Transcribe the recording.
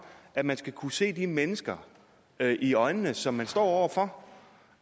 at man skal kunne se de mennesker i øjnene som man står over for